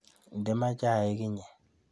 Inde maat cahik iyee